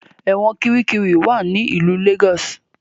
Ẹ̀wọ̀n Kirikiri wá ní ilú Lagos.